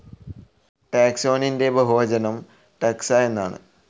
ടാക്സോനിൻ്റെ ബഹുവചനം ടക്സ എന്നാണ്.